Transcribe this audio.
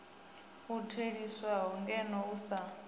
u theliswaho ngeno u sa